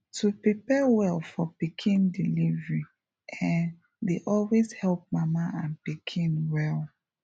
to prepare well for pikin delivery[um]dey always help mama and pikin well